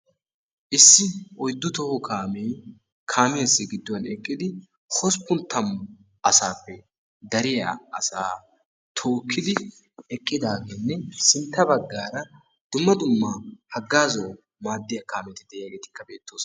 Issi oyddu toho kaame kaamisyasi gidduwan eqqidi hosppun tammu asaappe dariya asaa tookidi eqqidagene sintta baggaara dumma dumma haggazuwawu maadiya kaametti de'iyageti beetosona.